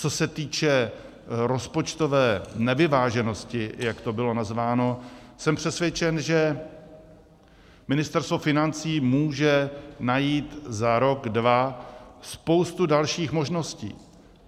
Co se týče rozpočtové nevyváženosti, jak to bylo nazváno, jsem přesvědčen, že Ministerstvo financí může najít za rok, dva spoustu dalších možností.